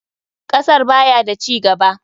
Kasar baya da cigaba.